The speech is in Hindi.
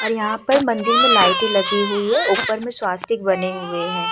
और यहाँ पर मंदिर में लाइटें लगी हुई है। ऊपर में स्वस्तिक बने हुए हैं।